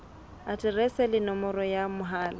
aterese le nomoro ya mohala